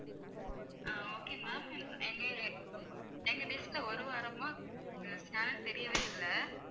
ஆஹ் okay ma'am எங்க~ எங்க dish ல ஒரு வாரமா channels தெரியவே இல்லை